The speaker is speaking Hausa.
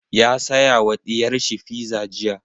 Ya saya ma ɗiyar shi fiza jiya.